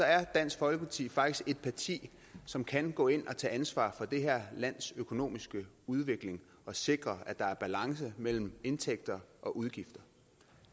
er dansk folkeparti faktisk et parti som kan gå ind og tage ansvar for det her lands økonomiske udvikling og sikre at der er balance mellem indtægter og udgifter